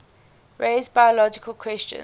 raise biological questions